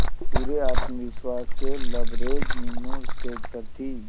पूरे आत्मविश्वास से लबरेज मीनू स्टेज पर थी